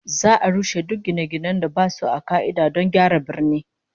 Za'a rushe duk gine-ginen da basu a ka'ida don gyara birnin